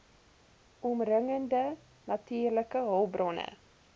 omringende natuurlike hulpbronne